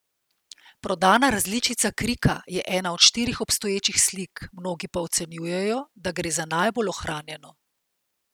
Prodana različica Krika je ena od štirih obstoječih slik, mnogi pa ocenjujejo, da gre za najbolj ohranjeno.